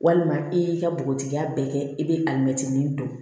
Walima i y'i ka bogotigiya bɛɛ kɛ i bɛ alimɛtinin don